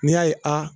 N'i y'a ye aa